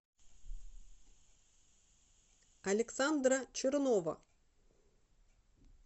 александра чернова